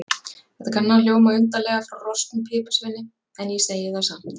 Þetta kann að hljóma undarlega frá rosknum piparsveini, en ég segi það samt.